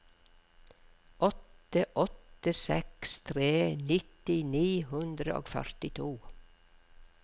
åtte åtte seks tre nitti ni hundre og førtito